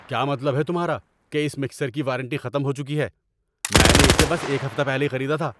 کیا مطلب ہے تمہارا کہ اس مکسر کی وارنٹی ختم ہو چکی ہے؟ میں نے اسے بس ایک ہفتہ پہلے ہی خریدا تھا!